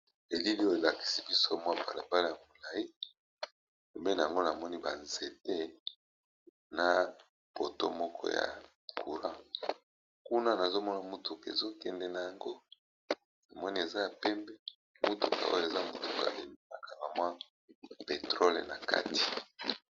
Balakisi biso balabala ya molai na pembeni ba ndako na ba nzete mutuka yango eza na citerne na sima.